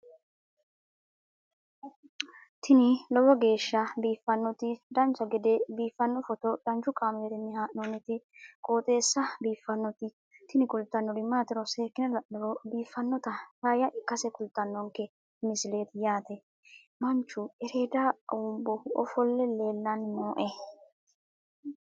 tini lowo geeshsha biiffannoti dancha gede biiffanno footo danchu kaameerinni haa'noonniti qooxeessa biiffannoti tini kultannori maatiro seekkine la'niro biiffannota faayya ikkase kultannoke misileeti yaate manchu ereeda awuumbohu ofolle leellanni nooe